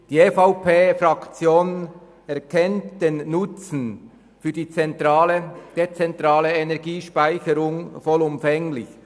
Die EVP-Fraktion erkennt den Nutzen der dezentralen Energiespeicherung vollumfänglich.